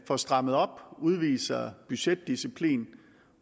får strammet op udviser budgetdisciplin